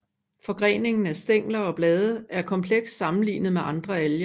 Forgreningen af stængler og blade er kompleks sammenlignet med andre alger